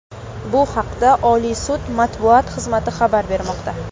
Bu haqda Oliy sud matbuot xizmati xabar bermoqda.